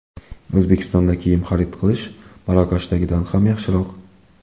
O‘zbekistonda kiyim xarid qilish Marokashdagidan ham yaxshiroq.